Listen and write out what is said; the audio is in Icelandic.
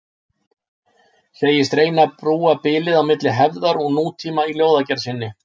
Segist reyna að brúa bilið milli hefðar og nútíma í ljóðagerð sinni.